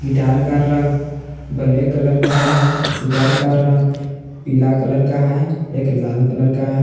का रंग black colour है गिटार का रंग पीला कलर का है एक लाल कलर का ह--